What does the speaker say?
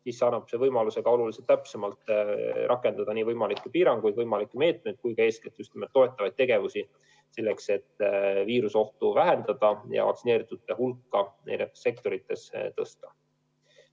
See info annab võimaluse oluliselt täpsemalt rakendada nii võimalikke piiranguid, võimalikke meetmeid kui ka eeskätt just toetavaid tegevusi, selleks et viiruseohtu vähendada ja vaktsineeritute hulka eri sektorites suurendada.